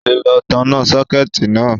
Ó ti lọ tanná sọ́kẹ̀tì náà